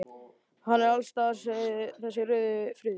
Hann er alls staðar þessi rauði friður.